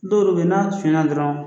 Don don bɛ yen na sunyɛna dɔrɔn